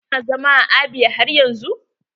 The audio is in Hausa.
Su na zaman Abia har yanzun?